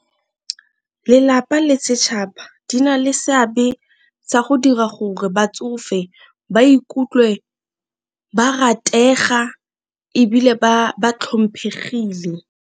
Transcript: Lelapa le setšhaba di na le seabe sa go dira gore batsofe ba ikutlwe ba ratega ebile ba tlhomphegile.